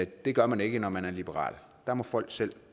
det gør man ikke når man er liberal der må folk selv